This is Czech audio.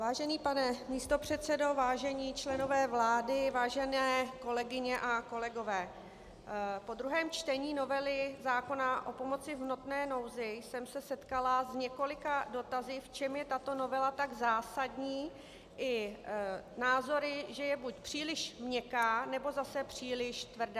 Vážený pane místopředsedo, vážení členové vlády, vážené kolegyně a kolegové, po druhém čtení novely zákona o pomoci v hmotné nouzi jsem se setkala s několika dotazy, v čem je tato novela tak zásadní, i názory, že je buď příliš měkká, nebo zase příliš tvrdá.